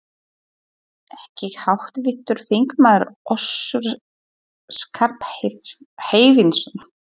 Ekki háttvirtur þingmaður Össur Skarphéðinsson?